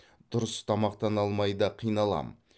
дұрыс тамақтана алмай да қиналам